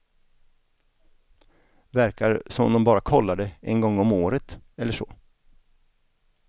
Verkar som om de bara kollar det en gång om året eller så.